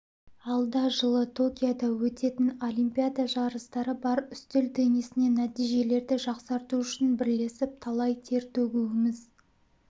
алда жылы токиода өтетін олимпиада жарыстары бар үстел теннисінен нәтижелерді жақсарту үшін бірлесіп талай тер төгуіміз